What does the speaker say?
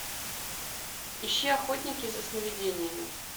ищи охотники за сновидениями